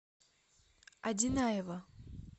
одинаева